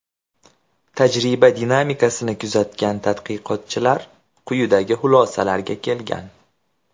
Tajriba dinamikasini kuzatgan tadqiqotchilar quyidagi xulosalarga kelgan.